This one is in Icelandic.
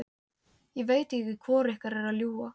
Ég veit ekki hvor ykkar er að ljúga.